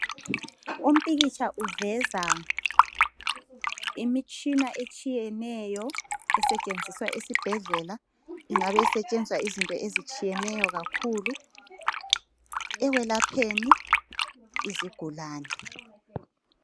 Umpikitsha uveza imitshina etshiyeneyo esetshenziswa esibhedlela ingabe isetshenziswa izinto ezitshiyeneyo kakhulu ekwelapheni izigulane.